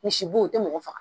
Misi si bo, o tɛ mɔgɔ faga.